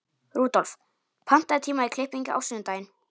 Rudolf, pantaðu tíma í klippingu á sunnudaginn.